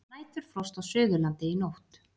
Næturfrost á Suðurlandi í nótt